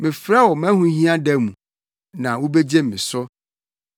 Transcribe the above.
Mɛfrɛ wo mʼahohia da mu, na wubegye me so.